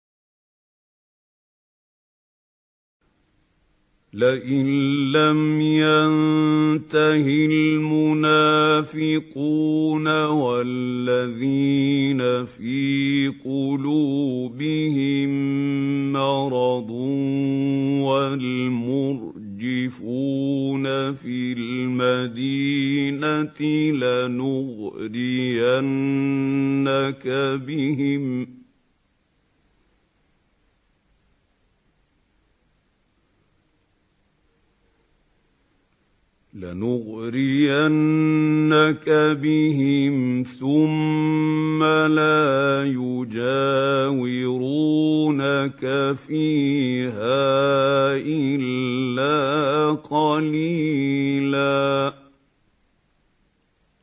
۞ لَّئِن لَّمْ يَنتَهِ الْمُنَافِقُونَ وَالَّذِينَ فِي قُلُوبِهِم مَّرَضٌ وَالْمُرْجِفُونَ فِي الْمَدِينَةِ لَنُغْرِيَنَّكَ بِهِمْ ثُمَّ لَا يُجَاوِرُونَكَ فِيهَا إِلَّا قَلِيلًا